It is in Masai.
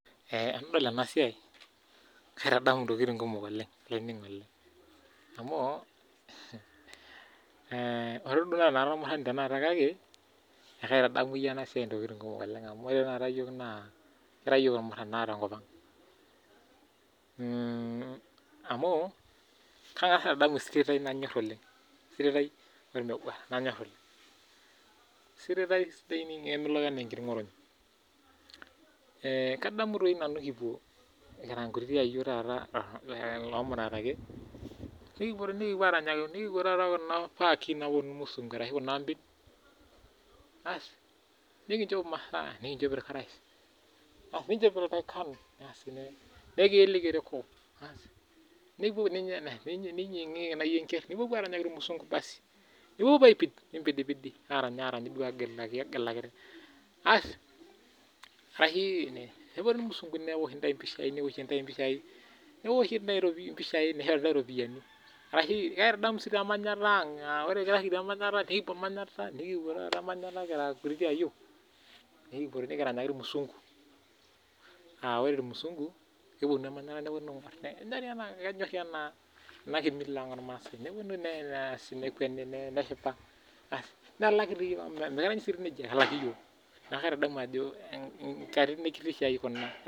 Tenadol ena siai naa kaitadamu ena siai esiatin kumok ore duo amu mekure Ara ormurani kake kaitadamu ena siai ntokitin kumok amu ore Tanakata iyiok ekira irmuran tenkop ang amu Kata esirit nanyor oleng irmeguaraa kadamu tata kira nkayiok nikipuo Kuna!cs]paki naapuonu irmushngu ashu Kuna ambin nikichoo emasaa nikichoo elntaikan nikiyelare ereko niyingiyingie najii enkera nipuopuo aranyaki irmushngu nipuopuo apid niranyiranga nigilakiki nepuonu irmushngu neoshi ntae mpishai nishori entawuo ropiani kaitadamu sii emanyata ang nikipuo emanyata kira nkutiti ayiok nikipuo nikiranyaki irmusungu aa ore irmusungu kepuonu emanyata nepuonu aing'or amu kenyor ena Mila ang ormaasai nepuonu nkekweni neshipa nelaki iyiok amu mikirany sii nejia neeku kaitadamu nkatitin ekitisho ai ena